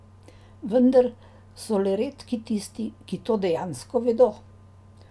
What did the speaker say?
Vendar so le redki tisti, ki to dejansko vedo.